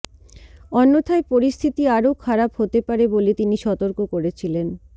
অন্যথায় পরিস্থিতি আরও খারাপ হতে পারে বলে তিনি সতর্ক করেছিলেন